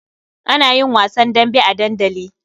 Ana yin wasan dambe a dandali.